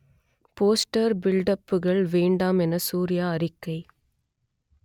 poster பில்டப்புகள் வேண்டாம் என சூர்யா அறிக்கை